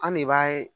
An ne b'a ye